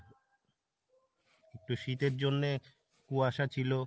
একটু শীতের জন্যে কুয়াশা ছিল।